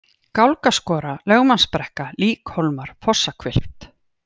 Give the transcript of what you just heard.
Gálgaskora, Lögmannsbrekka, Líkhólmar, Fossahvilft